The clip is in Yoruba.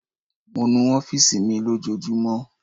Mo nu ọfiisi mi lojoojumọ